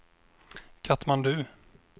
Katmandu